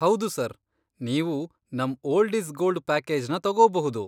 ಹೌದು, ಸರ್. ನೀವು ನಮ್ ,ಓಲ್ಡ್ ಈಸ್ ಗೋಲ್ಡ್, ಪ್ಯಾಕೇಜ್ನ ತಗೋಬಹ್ದು.